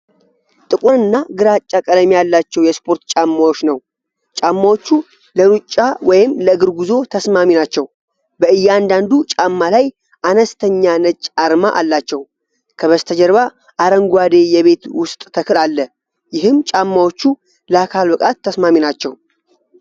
ጥቁርና ግራጫ ቀለም ያላቸው የስፖርት ጫማዎች ነው። ጫማዎቹ ለሮጫ ወይም ለእግር ጉዞ ተስማሚ ናቸው። በእያንዳንዱ ጫማ ላይ አነስተኛ ነጭ አርማ አላቸው። ከበስተጀርባ አረንጓዴ የቤት ውስጥ ተክል አለ። ይህም ጫማዎቹ ለአካል ብቃት ተስማሚ ናቸው።